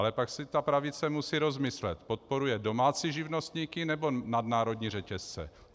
Ale pak si ta pravice musí rozmyslet - podporuje domácí živnostníky, nebo nadnárodní řetězce?